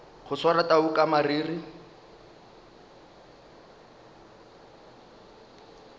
go swara tau ka mariri